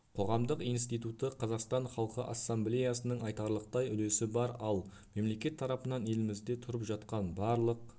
қоғамдық институты қазақстан халқы ассамблеясының айтарлықтай үлесі бар ал мемлекет тарапынан елімізде тұрып жатқан барлық